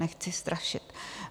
Nechci strašit.